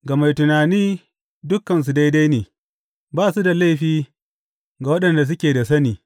Ga mai tunani dukansu daidai ne; ba su da laifi ga waɗanda suke da sani.